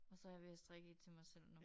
Og så jeg ved at strikke et til mig selv nu